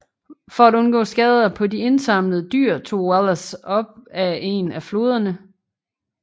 For at undgå skader på de indsamlede dyr tog Wallace op ad en af floderne